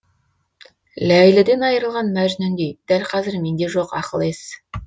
ләйліден айырылған мәжнүндей дәл қазір менде жоқ ақыл ес